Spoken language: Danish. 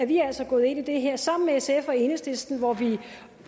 vi altså gået ind i det her sammen med sf og enhedslisten hvor vi